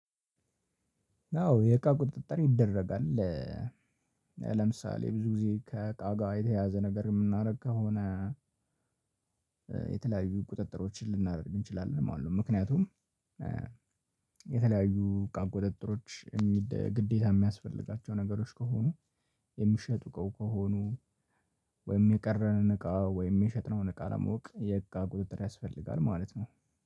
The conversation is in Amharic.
አዎ የእቃ ቁጥጥር ይደረጋል። ለምሳሌ ብዙ ጊዜ ከእቃ ጋር የተያያዘ ነገር የምናደርግ ከሆነ የተለያዩ ቁጥጥሮችን ልናደርግ እንችላለን ማለት ነው። ምክንያቱም የተለያዩ እቃ ቁጥጥሮች ግዴታ የሚያስፈልጋቸው ነገሮች ከሆኑ የሚሸጡ ከሆኑ ወይም የቀረንን እቃ ወይም የሸጥነውን እቃ ለማወቅ የእቃ ቁጥጥር ያስፈልጋል ማለት ነው።